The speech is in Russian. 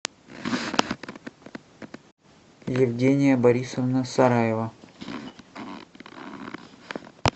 евгения борисовна сараева